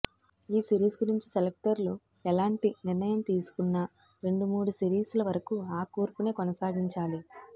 ఈ సిరీస్ గురించి సెలక్టర్లు ఎలాంటి నిర్ణయం తీసుకున్నా రెండు మూడు సిరీస్ల వరకు ఆ కూర్పునే కొనసాగించాలి